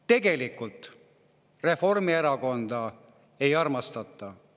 Tegelikult Reformierakonda ei armastata.